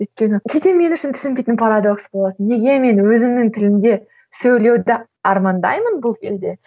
өйткені кейде мен үшін түсінбейтін парадокс болады неге мен өзімнің тілімде сөйлеуді армандаймын бұл кезде